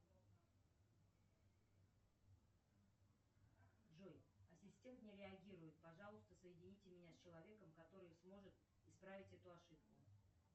джой ассистент не реагирует пожалуйста соедините меня с человеком который сможет исправить эту ошибку